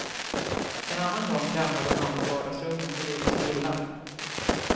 En annan gång ramlade mamma i vardagsrummet och gjorde sig illa.